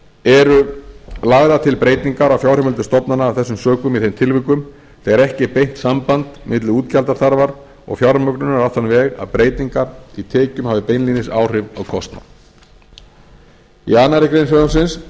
eru lagðar til breytingar á fjárheimildum stofnana af þessum sökum í þeim tilvikum þegar ekki er beint samband milli útgjaldaþarfar og fjármögnunar á þann veg að breytingar í tekjum hafi beinlínis áhrif á kostnað í annarri grein frumvarpsins er